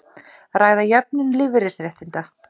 Ræða jöfnun lífeyrisréttinda